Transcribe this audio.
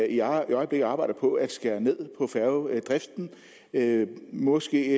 i øjeblikket arbejder på at skære ned på færgedriften måske